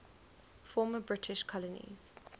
former british colonies